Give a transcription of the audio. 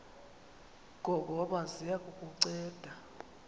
ngongoma ziya kukunceda